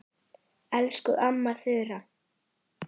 Elsku amma Þura.